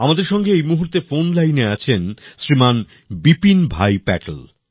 আমাদের সঙ্গে এই মূহুর্তে ফোন লাইনে আছেন শ্রীমান বিপিন ভাই পাটেল